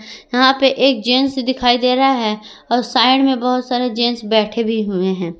यहां पे एक जेंट्स दिखाई दे रहा है और साइड में बहोत सारे जेंट्स बैठे भी हुए हैं।